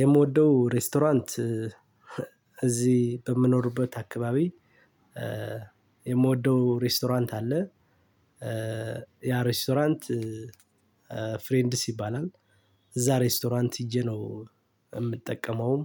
የምወደው ሬስቶራንት እዚህ በምኖርበት አካባቢ የምወደው ሬስቶራንት አለ። ያ ሬስቶራንት ፍሬንድስ ይባላል። እዛ ሬስቶራንት ሄጄ ነው የምጠቀመውም